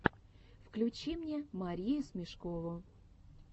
включи мне марию смешкову